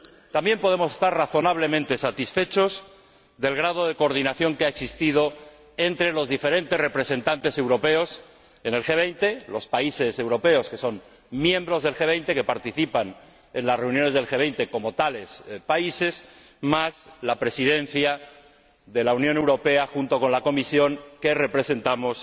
También podemos estar razonablemente satisfechos del grado de coordinación que ha existido entre los diferentes representantes europeos en el G 20, los países europeos que son miembros del G 20 y que participan en las reuniones del G 20 como tales países, más la Presidencia de la Unión Europea junto con la Comisión, que representamos